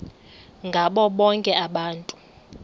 ngabo bonke abantu